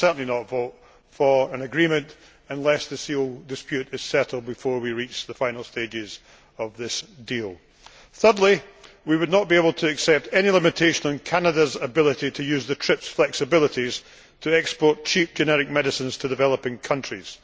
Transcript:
I would certainly not vote for an agreement unless this dispute is settled before we reach the final stages of this deal. Thirdly, we would not be able to accept any limitation on Canada's ability to use the TRIPS flexibilities to export cheap generic medicines to developing countries.